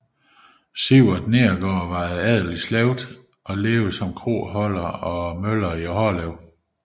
Sivart Neergaard var af adelig slægt og levede som kroholder og møller i Hårlev